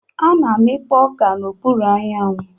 A na-amikpo oka n'okpuru anyanwụ.